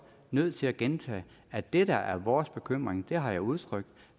nødt til at gentage at det der er vores bekymring har jeg udtrykt